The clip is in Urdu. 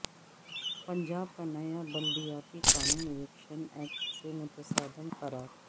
پنجاب کا نیا بلدیاتی قانون الیکشن ایکٹ سے متصادم قرار